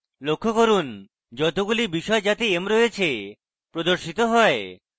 লক্ষ্য করুন যতগুলি বিষয় যাতে m রয়েছে প্রদর্শিত have